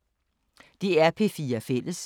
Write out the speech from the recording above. DR P4 Fælles